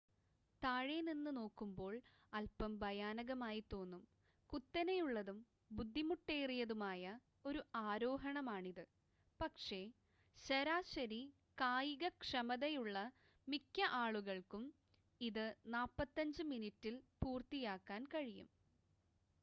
താഴെ നിന്ന് നോക്കുമ്പോൾ അൽപ്പം ഭയാനകമായി തോന്നും കുത്തനെയുള്ളതും ബുദ്ധിമുട്ടേറിയതുമായ ഒരു ആരോഹണമാണിത് പക്ഷെ ശരാശരി കായികക്ഷമതയുള്ള മിക്ക ആളുകൾക്കും ഇത് 45 മിനിറ്റിൽ പൂർത്തിയാക്കാൻ കഴിയും